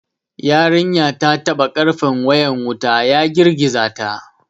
Yarinyar ta taɓa karfen wayan wuta, ya girgiza ta.